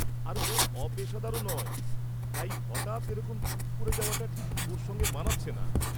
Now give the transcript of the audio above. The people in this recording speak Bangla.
আর ও অপেশাদারও নয়, তাই হঠাৎ এরকম চুপ করে যাওয়াটা ঠিক ওর সঙ্গে মানাচ্ছে না।